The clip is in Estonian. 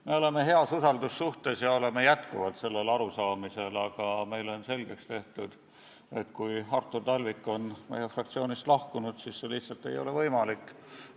Me oleme Artur Talvikuga usaldussuhtes ja ikka sellel arusaamisel, et tema võiks olla ettekandja, aga meile on selgeks tehtud, et kui ta on meie fraktsioonist lahkunud, siis see lihtsalt ei ole võimalik.